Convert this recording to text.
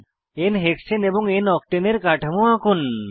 n হেক্সানে এবং n octane এর কাঠামো আঁকুন